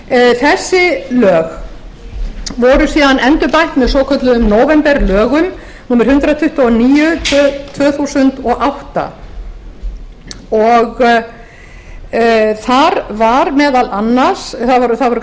þessi lög voru síðan endurbætt með svokölluðum nóvemberlögum númer hundrað tuttugu og níu tvö þúsund og átta þar var meðal annars það voru